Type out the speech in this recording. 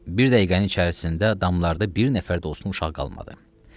Bir dəqiqənin içərisində damlarda bir nəfər də olsun uşaq qalmadı.